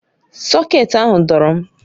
Sọkét ahụ dọọrọ m